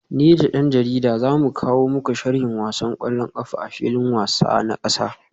Ni da dan jarida za mu kawo muku sharhin wasan kwallon kafa a filin wasa na kasa